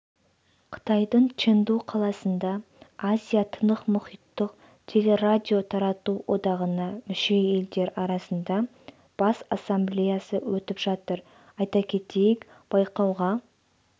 қытайдың чэнду қаласында азия-тынықмұхиттық телерадиотарату одағына мүше елдер арасында бас ассамблеясы өтіп жатыр айта кетейік байқауға